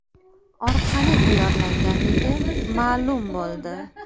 orqali tayyorlanganligi ma’lum bo‘ldi.